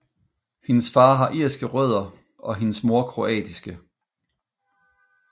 Hendes far har irske rødder og hendes mor kroatiske